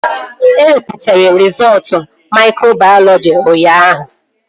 E wepụtara rizọọtu maikrobayọlọji ụnyaahụ